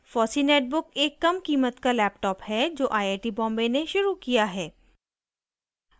* fossee netbook एक कमकीमत का laptop है जो iit बॉम्बे ने शुरू किया है